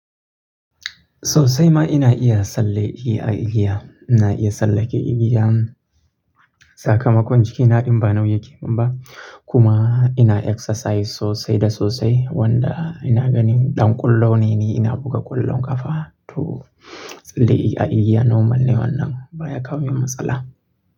Sosai ma ina iya tsalle i a igiya. Ina iya tsallake igiya, sakamakon jikina din ba nauyi yake minba. Kuma ina exercise sosai da sosai wanda ina ganin ɗan ƙwallo ne ni, ina buga ƙwallon ƙafa to tsalle i a igiya normal ne wannan ba ya kawo min matsala.